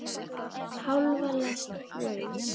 Hálfa lest brauðs.